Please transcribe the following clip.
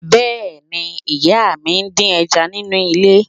Bẹ́ẹ̀ni, ìyá mi ń dín ẹja nínú ilé